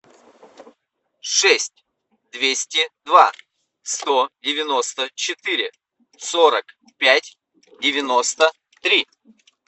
шесть двести два сто девяносто четыре сорок пять девяносто три